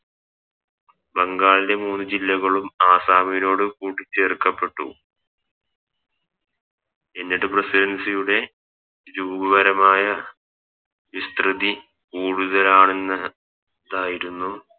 ബംഗാളിൻറെ മൂന്ന് ജില്ലകളും അസ്സമിനോട് കൂട്ടി ചേർക്കപ്പെട്ടു എന്നിട്ട് Residency യുടെ രൂപപരമായ വിസ്‌തൃതി കൂടുതലാണെന്ന് തായിരുന്നു